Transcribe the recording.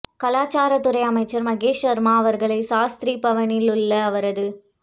கலாச்சாரத்துறை அமைச்சர் மகேஷ் சர்மா அவர்களை சாஸ்திரி பவனில் உள்ள அவரது